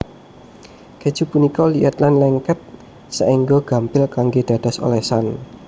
Kèju punika liat lan lengket saéngga gampil kanggé dados olesan